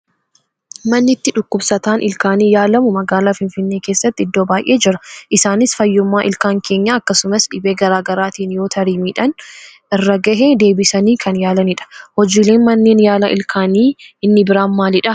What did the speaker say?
Manni itti dhukkubsataan ilkaanii yaalamu magaalaa Finfinnee keessatti iddoo baay'ee jira. Isaanis fayyummaa ilkaan keenyaa akkasumas dhibee garaagaraatiin yoo tarii miidhaan irra gahee deebisanii kan yaalanidha. Hojiileen manneen yaalaa ilkaanii inni biraan maalidhaa?